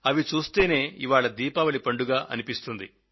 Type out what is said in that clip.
అవి చూస్తేనే ఇవాళ దీపావళి పండుగ అని అనిపిస్తుంది